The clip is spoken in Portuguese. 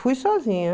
Fui sozinha.